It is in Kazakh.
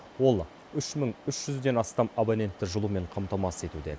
ол үш мың үш жүзден астам абонентті жылумен қамтамасыз етуде